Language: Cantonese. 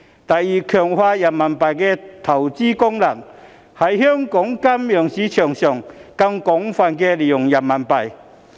第二，強化人民幣的投資功能，在香港金融市場上更廣泛使用人民幣。